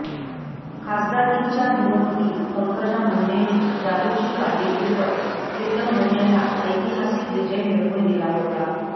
खासदारकींच्या निवडणुकीत पंकजा मुंडेनी जादूची कांडी फिरवत प्रीतम मुंडेंना ऐतिहसिक विजय मिळवून दिला होता